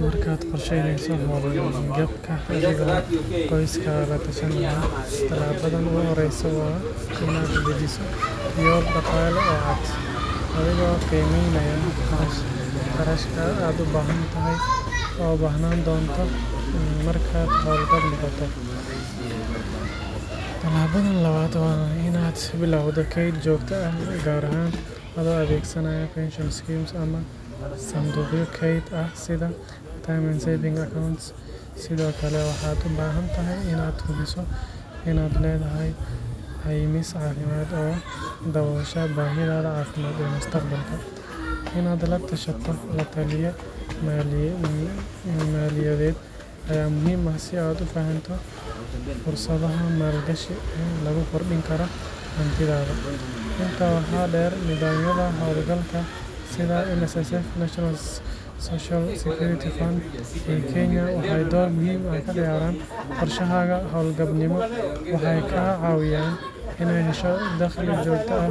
Marka aad qoraheyneso oo a latashaneyo qoskaga sihabada ogu horeso waa in aa dajiso qoskaga adhigo qimeynaya qarashka oo u bahnan donto, tilabaada lawad waa in aa bilawdo ked lawad atho adhegsanaya sitha permanent waxaa u bahantahay in aad hubiso in aad lethahay qemis cafimaad oo mustaqbalka, waxaa muhiim ah si aad u fahanto in lagu kordini karo sitha holgalka NSSIF kenya waxee dor muhiim ah ka ciyaran qorshahaga hob gal nimo waxee ka cawiyan daqli jogta ah,